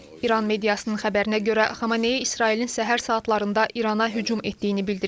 İran mediasının xəbərinə görə, Xameneyi İsrailin səhər saatlarında İrana hücum etdiyini bildirib.